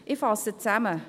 Ich fasse zusammen: